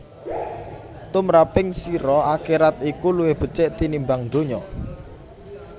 Tumraping sira akherat iku luwih becik tinimbang donya